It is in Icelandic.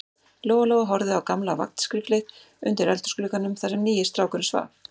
Lóa-Lóa horfði á gamla vagnskriflið undir eldhúsglugganum, þar sem nýi strákurinn svaf.